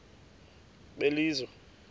belizwe